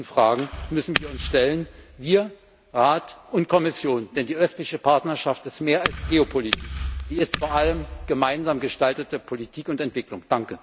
Diesen Fragen müssen wir uns stellen wir, der Rat und die Kommission denn die Östliche Partnerschaft ist mehr als Geopolitik, sie ist vor allem gemeinsam gestaltete Politik und Entwicklung.